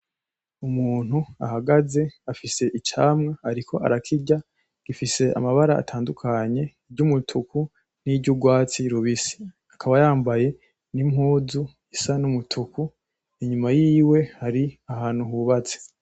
Umuntu ahagaze afise icamwa ariko arakirya , gifise amabara atandukanye iryumutuku niryurwatsi rubisi, akaba yambaye nimpuzu isa numutuku inyuma yiwe hari ahantu hubatse .